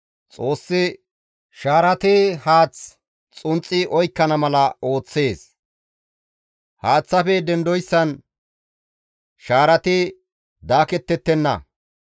Xoossi shaarati haath xunxi oykkana mala ooththees; haaththafe dendoyssan shaarati daaketettenna.